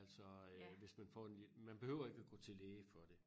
Altså øh hvis man får den man behøver ikke gå til læge for det